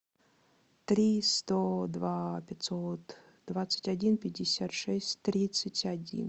три сто два пятьсот двадцать один пятьдесят шесть тридцать один